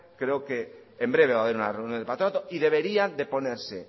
creo que en breve va a ver una reunión del patronato y deberían de ponerse